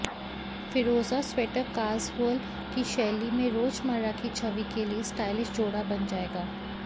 फ़िरोज़ा sweater casual की शैली में रोजमर्रा की छवि के लिए स्टाइलिश जोड़ बन जाएगा